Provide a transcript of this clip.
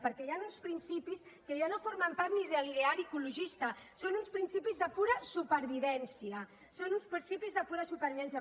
perquè hi han uns principis que ja no formen part ni de l’ideari ecologista són uns principis de pura supervivència són uns principis de pura supervivència